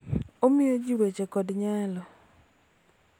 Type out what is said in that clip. Omiyo ji weche kod nyalo .